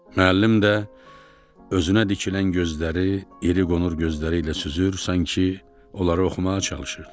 Müəllim də özünə dikilən gözləri, iri qonur gözləri ilə süzür, sanki onları oxumağa çalışırdı.